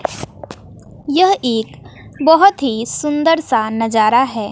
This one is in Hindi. यह एक बहोत ही सुंदर सा नजारा है।